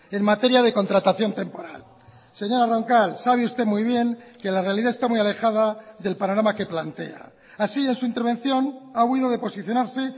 en materia de contratación temporal señora roncal sabe usted muy bien que la realidad está muy alejada del panorama que plantea así en su intervención ha huido de posicionarse